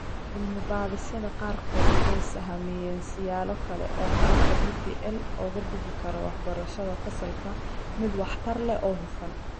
Cilmi-baadhisyada qaarkood waxay sahamiyeen siyaalo kale oo qalabka DPL uga dhigi karo waxbarashada fasalka mid waxtar leh oo hufan